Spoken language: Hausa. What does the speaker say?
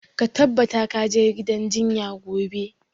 Ka tabbata ka je gidan jinya gobe!